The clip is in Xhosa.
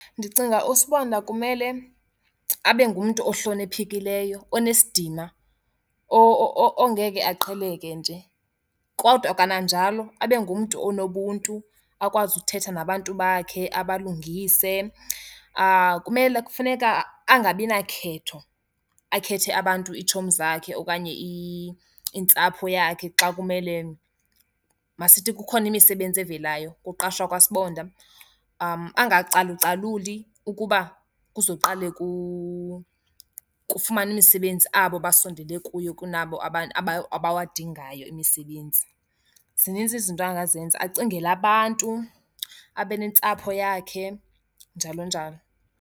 Ndicinga usibonda kumele abe ngumntu ohloniphekileyo, onesidima ongeke aqheleke nje, kodwa kananjalo abe ngumntu onobuntu, akwazi uthetha nabantu bakhe, abalungise. Kumele, kufuneka angabina khetho, akhethe abantu iitshomi zakhe okanye intsapho yakhe xa kumele, masithi kukhona imisebenzi evelayo kuqashwa kwasibonda, angacalucaluli ukuba kuzoqale kufumane imisebenzi abo basondele kuye kunabo abawadingayo imisebenzi. Zininzi izinto angazenza. Acingele abantu, abe nentsapho yakhe, njalo njalo.